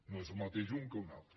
no és el mateix un que un altre